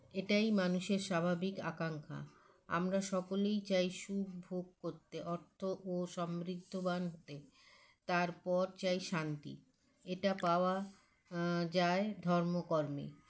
এটাই মানুষের স্বাভাবিক আকাঙ্ক্ষা আমরা সকলেই চাই সুখভোগ করতে অর্থ ও সমৃদ্ধবান হতে তারপর চাই শান্তি এটা পাওয়া আ যায় ধর্মকর্মে